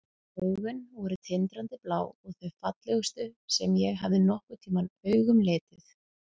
Augun voru tindrandi blá og þau fallegustu sem ég hafði nokkurn tímann augum litið.